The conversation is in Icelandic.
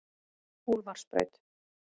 Úlfarsbraut